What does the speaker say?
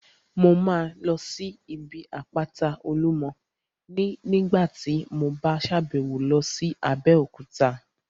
Mo máa lọ sí ibi àpáta Olúmọ ní nígbàtí mo bá sàbẹ̀wo lọ sí Abéòkúta